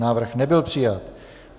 Návrh nebyl přijat.